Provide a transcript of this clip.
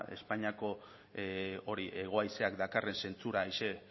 espainiako hori hego haizea dakarren zentsura haize